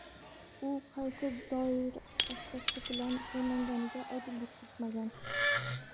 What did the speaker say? U qaysi dori vositasi bilan emlanganiga oydinlik kiritmagan.